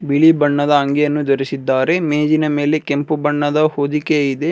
ಬಿಳಿ ಬಣ್ಣದ ಅಂಗಿಯನ್ನು ಧರಿಸಿದ್ದಾರೆ ಮೇಜಿನ ಮೇಲೆ ಕೆಂಪು ಬಣ್ಣದ ಹೊದಿಕೆ ಇದೆ.